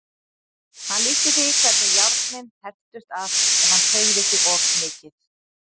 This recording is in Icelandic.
Hann lýsti því hvernig járnin hertust að ef hann hreyfði sig of mikið.